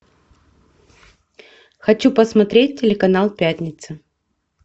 хочу посмотреть телеканал пятница